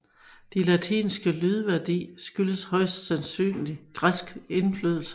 Dets latinske lydværdi skyldtes højst sandsynligt græsk indflydelse